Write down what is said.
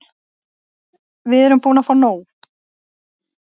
Við erum búin að fá nóg.